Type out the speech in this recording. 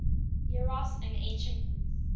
eros in ancient greece